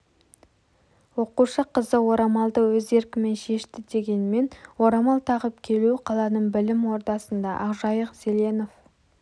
оқушы қызы орамалды өз еркімен шешті дегенмен орамал тағып келу қаланың білім ордасында ақжайық зеленов